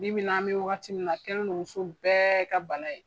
Bi bi n na an bɛ wagati min na a kɛlen do muso bɛɛ ka bana ye.